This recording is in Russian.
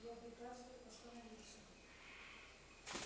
я приказываю остановиться